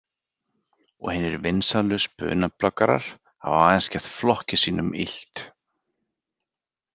Og hinir „vinsælu“ spunabloggarar hafa aðeins gert flokki sínum illt.